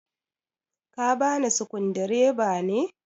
ka bani sukudireba ne?